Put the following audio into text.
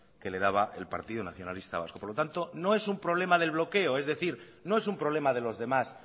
que le daba el partido nacionalista vasco por lo tanto no es un problema del bloqueo es decir no es un problema de los demás